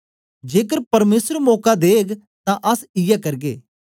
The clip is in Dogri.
जेकर परमेसर मौका देग तां अस इयै करगे